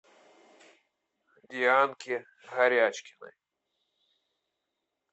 дианки горячкиной